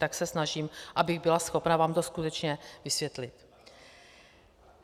Tak se snažím, abych byla schopna vám to skutečně vysvětlit.